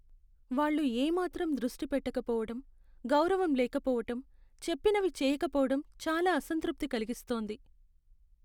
వాళ్లు ఏ మాత్రం దృష్టి పెట్టకపోవటం, గౌరవం లేకపోవటం, చెప్పినవి చేయకపోవటం చాలా అసంతృప్తి కలిగిస్తోంది.